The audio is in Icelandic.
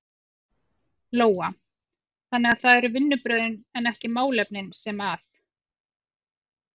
Lóa: Þannig að það eru vinnubrögðin en ekki málefnin sem að?